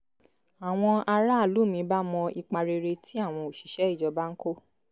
àwọn aráàlú mi bá mọ ipa rere tí àwọn òṣìṣẹ́ ìjọba ń kó